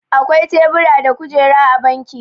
akwai tebura da kujeru a banki